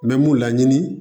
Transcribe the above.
N bɛ mun laɲini